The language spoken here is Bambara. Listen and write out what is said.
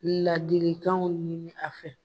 Ladikanw ɲini a fɛ